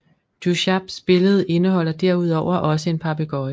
Duchaps billede indeholder derudover også en papegøje